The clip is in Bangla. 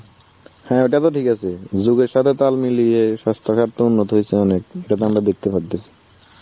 হ্যাঁ ওটা তো ঠিক আছে. যুগের সাথে তাল মিলিয়ে স্বাস্থ্য ঘাট তো উন্নত হয়েছে অনেক এটা তো আমরা দেখতে পারতেছি.